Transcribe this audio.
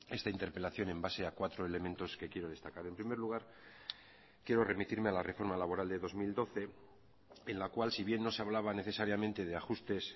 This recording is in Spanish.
esta interpelación en base a cuatro elementos que quiero destacar en primer lugar quiero remitirme a la reforma laboral de dos mil doce en la cual si bien no se hablaba necesariamente de ajustes